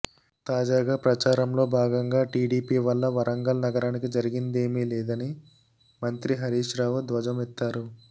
తాజాగా ప్రచారంలో భాగంగా టీడీపీ వల్ల వరంగల్ నగరానికి ఒరిగిందేమీలేదని మంత్రి హరీష్రావు ధ్వజమెత్తారు